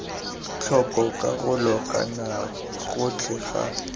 tlhoko karolo kana gotlhe ga